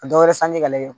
Ka dɔ wɛrɛ sanji k'ale kun